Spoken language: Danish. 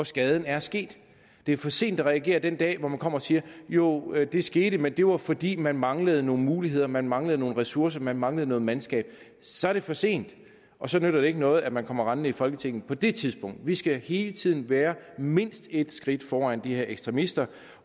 skaden er sket det er for sent at reagere den dag hvor man kommer og siger jo det skete men det var fordi man manglede nogle muligheder man manglede nogle ressourcer man manglende noget mandskab så er det for sent og så nytter det ikke noget at man kommer rendende i folketinget på det tidspunkt vi skal hele tiden være mindst et skridt foran de her ekstremister